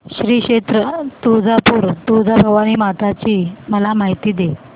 श्री क्षेत्र तुळजापूर तुळजाभवानी माता ची मला माहिती दे